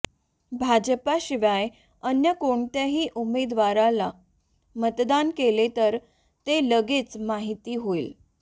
भाजपशिवाय अन्य कोणत्याही उमेदवाराला मतदान केले तर ते लगेच माहिती होईल